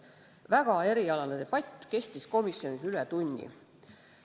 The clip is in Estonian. Väga erialane debatt kestis komisjonis üle tunni.